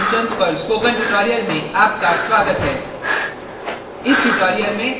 Perl में array functions पर spoken tutorial में आपका स्वागत है